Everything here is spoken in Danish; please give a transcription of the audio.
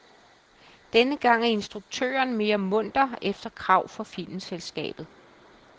Denne gang er instruktøren mere munter efter krav fra filmselskabet.